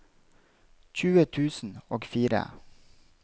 tjue tusen og fire